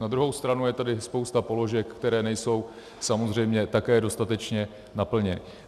Na druhou stranu je tady spousta položek, které nejsou samozřejmě také dostatečně naplněny.